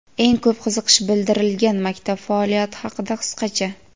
Eng ko‘p qiziqish bildirilgan maktab faoliyati haqida qisqacha:.